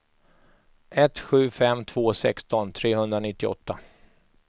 ett sju fem två sexton trehundranittioåtta